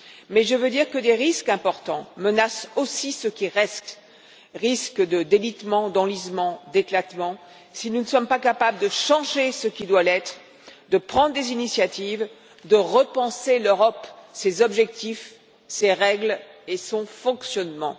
Mais je veux dire que des risques importants menacent aussi ceux qui restent risques de délitement, d'enlisement, d'éclatement si nous ne sommes pas capables de changer ce qui doit l'être, de prendre des initiatives, de repenser l'Europe, ses objectifs, ses règles et son fonctionnement.